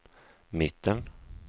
mitten